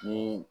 Ni